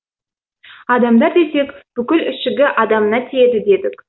адамдар десек бүкіл ішігі адамына тиеді дедік